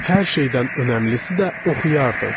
Hər şeydən önəmlisi də oxuyardıq.